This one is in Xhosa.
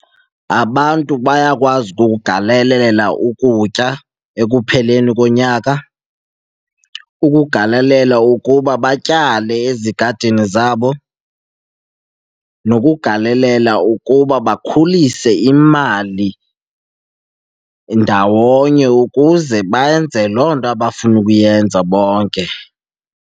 Abantu bayakwazi ukugalelela ukutya ekupheleni konyaka, ukugalelela ukuba batyale ezigadini zabo nokugalelela ukuba bakhulise imali ndawonye ukuze benze loo nto abafuna ukuyenza bonke.